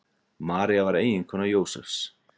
María var eiginkona Jósefs.